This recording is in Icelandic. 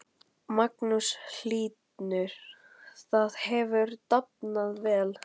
Magnús Hlynur: Það hefur dafnað vel?